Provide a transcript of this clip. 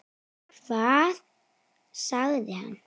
Hvað sagði hann?